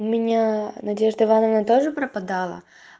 у меня надежда ивановна тоже пропадала